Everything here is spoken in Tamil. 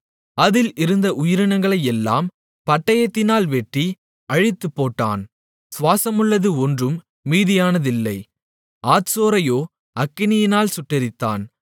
அதில் இருந்த உயிரினங்களையெல்லாம் பட்டயத்தினால் வெட்டி அழித்துப்போட்டான் சுவாசமுள்ளது ஒன்றும் மீதியானதில்லை ஆத்சோரையோ அக்கினியால் சுட்டெரித்தான்